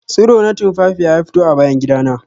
Tsiro na tumfafiya ya fito a bayan gida na